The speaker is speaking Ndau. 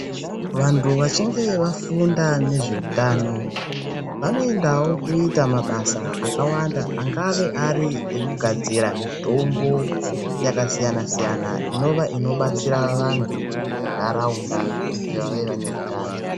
Vantu vachinge vafunga nezveutano vanoindawo kuita mabasa akawanda angave ari ekugadzira mitombo yakasiyana siyana Inova inobatsira vanthu munharaunda kuti vave vaneutano.